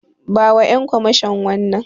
Bawa Ƴan kwamashon wannan.